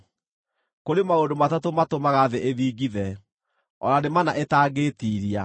“Kũrĩ maũndũ matatũ matũmaga thĩ ĩthingithe, o na nĩ mana ĩtangĩĩtiiria: